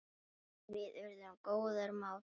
Við urðum góðir mátar.